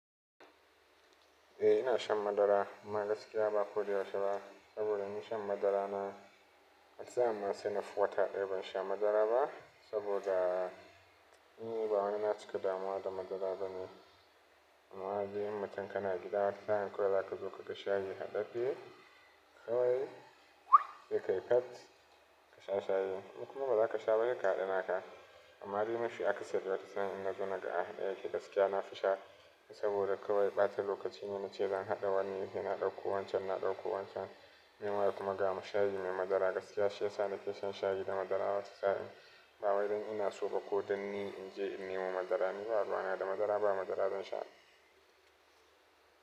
Eh ina shan madara amma gaskiya ba koyaushe ba. Saboda ni shan madara na, wata sa'in ma sai nafi wata ɗaya ban sha madara ba saboda nii bawani na cika damuwa da madara bane. Amma in dai mutan ka na gida watan sa'in zaka zo kaga shayi haɗadde shi kawai da kai kat ka sha shayi. In kuma ba za ka sha ba se ka haɗa naka. Amma dai mafi akasari wata sa'in in nazo naga aɗaya yake gaskiya na fi sha saboda kawai ɓata lokaci. Ina ce zan haɗa wannan yi yana ɗauko wancan na ɗauko wancan. Me kuma ga shayi mai madara gaskiya shi yasa na ke shan shayi da madara ba su sani. Bawai dan ina soba kodan ni in je in yi mu madara ni ba ruwa na da madara ba madara zan sha.